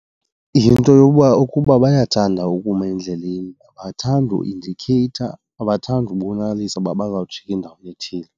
Yinto yokuba ukuba bayathanda ukuma endleleni, abathandi uindikheyitha, abathandi kubonakalisa uba bazawujika endaweni ethile.